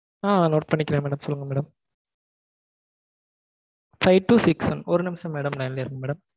ஆஹ் note பண்ணிக்கறேன் madam சொல்லுங்க madam Five two six one ஒரு நிமிஷம் madam line யே இருங்க madam